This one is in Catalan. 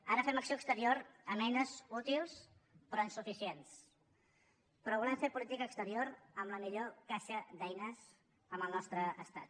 ara fem acció exterior amb eines útils però insuficients però volem fer política exterior amb la millor caixa d’eines amb el nostre estat